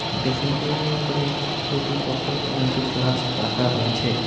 Dressing টেবিলের উপরে দুটি বোতল এবং একটি ফ্লাস্ক রাখা রয়েছে।